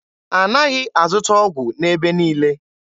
A naghị azụta ọgwụ n'ebe niile.